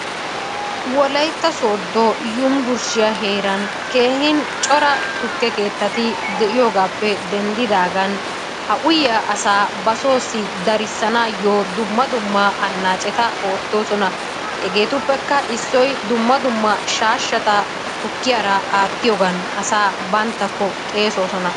wolaytta sooddo yunbburshshiyaa heeran keehin cora tukke keettati de'iyoogappe denddidaagan ha uyyiyaa asaa ba soossi darissanayyo dumma dumma anacceta oottosona. hegetuppekka issoy shashshata tukkiyaara aattiyoogan asaa banttako xeessoosona.